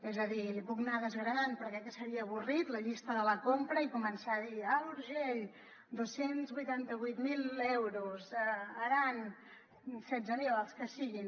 és a dir li puc anar desgranant però crec que seria avorrit la llista de la compra i començar a dir alt urgell dos cents i vuitanta vuit mil euros aran setze mil els que siguin